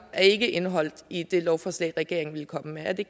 ikke er indeholdt i det lovforslag regeringen ville komme med er det